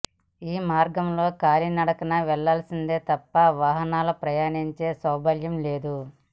ఈ మార్గంలో కాలినడకన వెళ్లాల్సిందే తప్ప వాహ నాలు ప్రయాణించే సౌలభ్యంలేదు